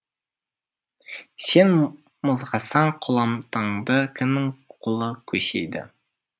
сен мызғасаң қоламтаңды кімнің қолы көсейді